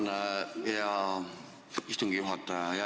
Tänan, hea istungi juhataja!